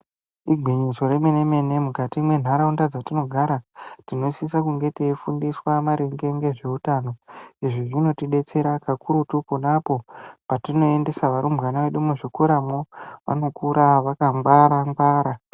Igwinyiso remene mene mukati mendaraunda dzatinogara kuti tinenge teifundiswa maringe nezvehutano izvi zvinotidetsera kakurutu ponaapo patinoendesa varumbwana muzvikoramwo anokura vakangwara ngwara.